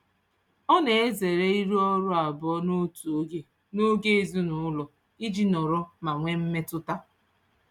Ọ na-ezere ịrụ ọrụ abụọ n'otu oge n'oge ezinụụlọ iji nọrọ ma nwee mmetụta.